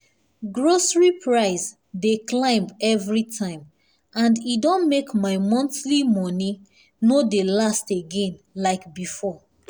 grocery price dey climb every time and e don make my monthly money no dey last again like before.